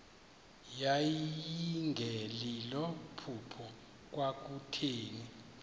yayingelilo phupha kwakutheni